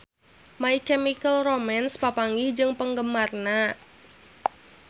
My Chemical Romance papanggih jeung penggemarna